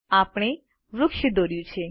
આપણે વૃક્ષ દોર્યું છે